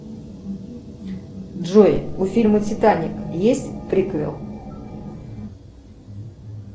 джой у фильма титаник есть приквел